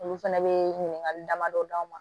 Olu fɛnɛ bɛ ɲininkali damadɔ d'a ma